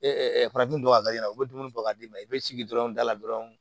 farafin dɔ ka i la u be dumuni bɔ ka d'i ma i be jigin dɔrɔn dala dɔrɔn